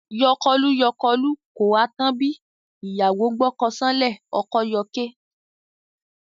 Yọkọlú-yọkọlú, kò ha tán bí? ìyàwó gbọ́kọ ṣánlẹ̀, ọkọ yọké.